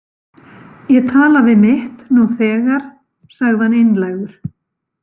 Ég tala við mitt nú þegar, sagði hann einlægur.